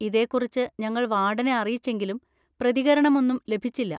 ഇതേക്കുറിച്ച് ഞങ്ങൾ വാർഡനെ അറിയിച്ചെങ്കിലും പ്രതികരണമൊന്നും ലഭിച്ചില്ല.